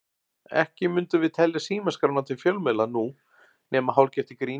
Ekki mundum við telja símaskrána til fjölmiðla nú, nema hálfgert í gríni.